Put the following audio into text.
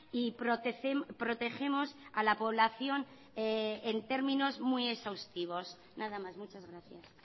y protegemos a la población en términos muy exhaustivos nada más muchas gracias